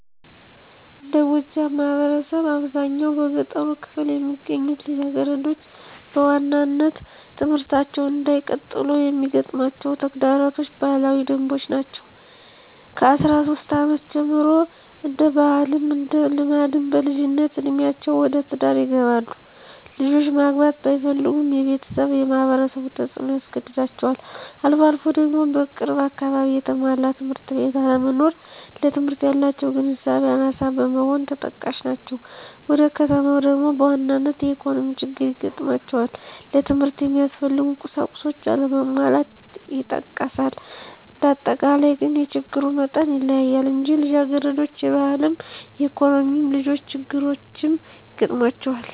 እንደ ጎጃም ማህበረሰብ አብዛኛው በገጠሩ ክፍል የሚገኙት ልጃገረዶች በዋናነት ትምህርታቸውን እንዳይቀጥሉ የሚገጥማቸው ተግዳሮቶች ባህላዊ ደንቦች ናቸው። ከአስራ ሶስት አመት ጀምሮ እንደ ባህልም እንደ ልማድም በልጅነት እዴሜአቸው ወደ ትዳር ይገባሉ። ልጆች ማግባት ባይፈልጉም የቤተሰብም የማህበረሰቡ ተፅኖ ያስገድዳቸዋል። አልፎ አልፎ ደግሞ በቅርብ አካባቢ የተሟላ ትምህርት ቤት አለመኖር ለትምህርት ያላቸው ግንዛቤ አናሳ መሆንም ተጠቃሽ ናቸው። ወደ ከተማው ደግሞ በዋናነት የኢኮኖሚ ችግር ይገጥማቸዋል ለትምህርት የሚያስፈልጉ ቁሳቁሶች አለመሟላት ይጠቀሳል። እንዳጠቃላይ ግን የችግሩ መጠን ይለያያል እንጂ ልጃገረዶች የባህልም የኢኮኖሚም ሌሎች ችግሮችም ይገጥሟቸዋል።